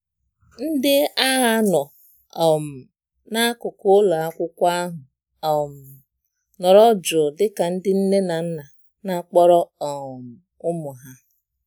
ndị agha nọ um na-akuku ụlọakwụkwọ ahụ um nọrọ jụụ dịka ndị nne na nna na-akpọrọ um ụmụ ha